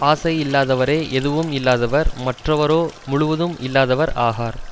ஆசை இல்லாதவரே எதுவும் இல்லாதவர் மற்றவரோ முழுவதும் இல்லாதவர் ஆகார்